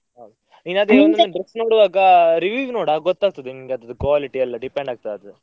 ಹೌದ್, dress ನೋಡುವಾಗ review ನೋಡು ಆಗ ಗೂತ್ತಾಗ್ತದೆ ನಿನ್ಗೆ ಅದ್ರದ್ದು quality ಎಲ್ಲ depend ಆಗ್ತದೆ ಅದು.